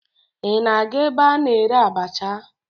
Ị na-aga ebe a na-ere abacha?